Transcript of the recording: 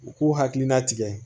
U k'u hakilina tigɛ